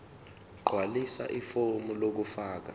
gqwalisa ifomu lokufaka